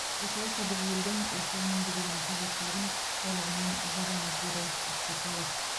осылайша біз елдің осы өнімге деген қажеттілігін толығымен жабамыз деді ақсақалов